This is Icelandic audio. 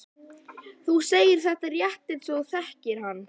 Þú segir þetta rétt eins og þú þekktir hann.